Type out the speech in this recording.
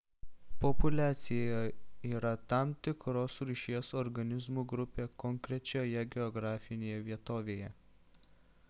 populiacija yra tam tikros rūšies organizmų grupė konkrečioje geografinėje vietovėje